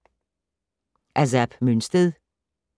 Af Zap Mønsted